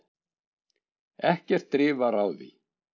ekkert drif var á því